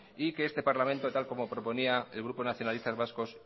y que este parlamento tal como proponía el grupo nacionalistas vascos